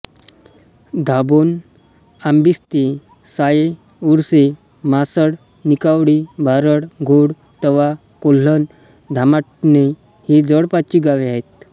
दाभोण आंबिस्ते साये उरसे म्हासड निकावळी भारड घोळ तवा कोल्हण धामाटणे ही जवळपासची गावे आहेत